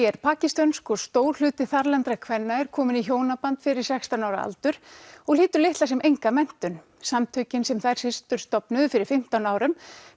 er pakistönsk og stór hluti þarlendra kvenna er kominn í hjónaband fyrir sextán ára aldur og hlýtur litla sem enga menntun samtökin sem þær systur stofnuðu fyrir fimmtán árum